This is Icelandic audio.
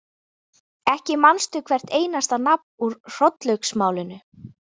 Ekki manstu hvert einasta nafn úr Hrollaugsmálinu?